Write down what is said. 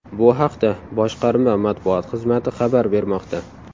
Bu haqda boshqarma matbuot xizmati xabar bermoqda .